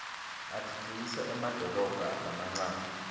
atfutfukisa emadolobha lamancane